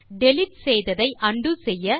delete செய்ததை உண்டோ செய்ய